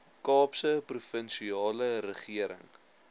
kaapse provinsiale regering